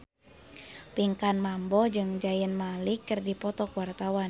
Pinkan Mambo jeung Zayn Malik keur dipoto ku wartawan